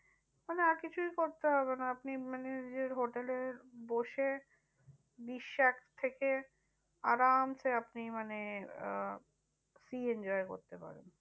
মানে আর কিছুই করতে হবে না আপনি মানে নিজের hotel এ বসে বিসাক থেকে আরামসে আপনি মানে আহ sea enjoy করতে পারেন।